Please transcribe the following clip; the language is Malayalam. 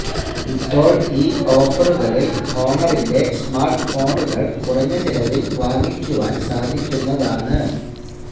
ഇപ്പോൾ ഈ ഓഫറുകളിൽ ഹോണറിന്റെ സ്മാർട്ട് ഫോണുകകൾ കുറഞ്ഞ ചിലവിൽ വാങ്ങിക്കുവാൻ സാധിക്കുന്നതാണ്